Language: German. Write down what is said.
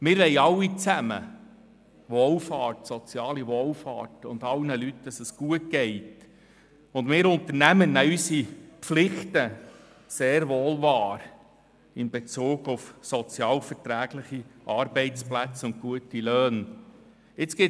Wir wollen alle zusammen Wohlfahrt, soziale Wohlfahrt und dass es allen Leuten gut geht, und wir Unternehmer nehmen unsere Pflichten in Bezug auf sozialverträgliche Arbeitsplätze und gute Löhne sehr wohl wahr.